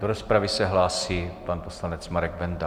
Do rozpravy se hlásí pan poslanec Marek Benda.